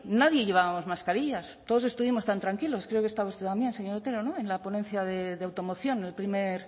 nadie llevábamos mascarillas todos estuvimos tan tranquilos creo que estaba usted también señor otero no en la ponencia de automoción el primer